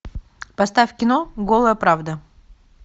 поставь кино голая правда